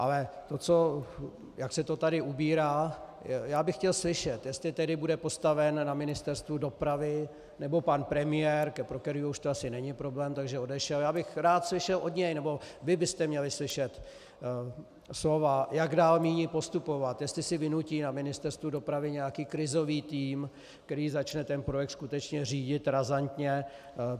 Ale to, jak se to tady ubírá, já bych chtěl slyšet, jestli tedy bude postaven na Ministerstvu dopravy - nebo pan premiér, pro kterého už to asi není problém, takže odešel, já bych rád slyšel od něj, nebo vy byste měli slyšet slova, jak dál míní postupovat, jestli si vynutí na Ministerstvu dopravy nějaký krizový tým, který začne ten projekt skutečně řídit razantně.